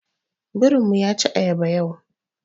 Birin mu yaci ayaba yau.